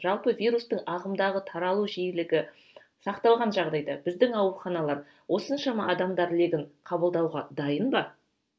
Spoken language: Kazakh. жалпы вирустың ағымдағы таралу жиілігі сақталған жағдайда біздің ауруханалар осыншама адамдар легін қабылдауға дайын ба